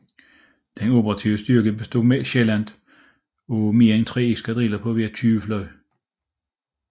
Den operative styrke bestod sjældent af mere end tre eskadriller på hver 20 fly